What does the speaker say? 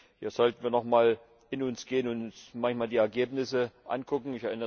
Hier sollten wir noch mal in uns gehen und manchmal die Ergebnisse angucken.